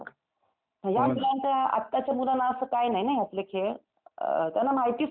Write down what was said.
या मुलांना, आत्ताच्या मुलांना असं काही नाही ना यातले खेळ? अम त्यांना माहितीच नाही ना काय?